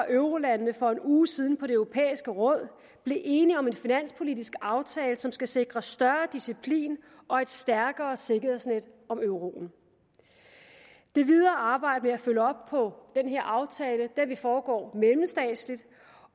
eurolandene for en uge siden i det europæiske råd blev enige om en finanspolitisk aftale som skal sikre større disciplin og et stærkere sikkerhedsnet under euroen det videre arbejde med at følge op på den her aftale vil foregå mellemstatsligt